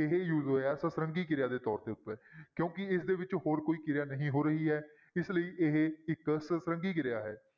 ਇਹ use ਹੋਇਆ ਸਤਰੰਗੀ ਕਿਰਿਆ ਦੇ ਤੌਰ ਦੇ ਉੱਤੇ ਕਿਉਂਕਿ ਇਸਦੇ ਵਿੱਚ ਹੋਰ ਕੋਈ ਕਿਰਿਆ ਨਹੀਂ ਹੋ ਰਹੀ ਹੈ, ਇਸ ਲਈ ਇਹ ਇੱਕ ਸਤਰੰਗੀ ਕਿਰਿਆ ਹੈ।